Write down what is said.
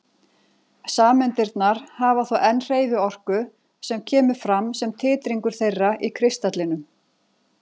Sameindirnar hafa þó enn hreyfiorku sem kemur fram sem titringur þeirra í kristallinum.